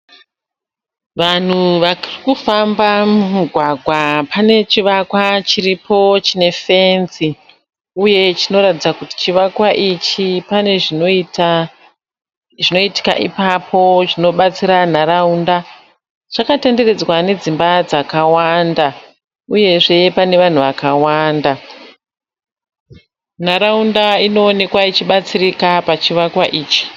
Vanhu varikufamba mumugwagwa pane chivakwa chiripo chine fenzi uye chinoratidza kuti chivakwa ichi pane zvinoita zvinoitika ipapo zvinobatsira nharaunda. Chakatenderedzwa nedzimba dzakawanda uyezve pane vanhu vakawanda. Nharaunda inoonekwa ichibatsirika pachivakwa ichi.